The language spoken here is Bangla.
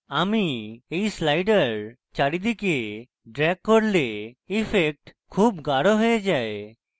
আমি when slider চারিদিকে ড্রেগ করলে ইফেক্ট খুব গাঢ় হয়ে যায়